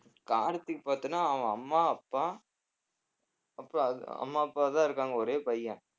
கார்த்திக் பார்த்தன்னா அவன் அம்மா அப்பா அப்புறம் அது அம்மா அப்பாதான் இருக்காங்க ஒரே பையன்